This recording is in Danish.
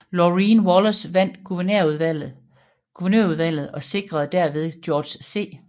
Laureen Wallace vandt guvernørvalget og sikrede derved George C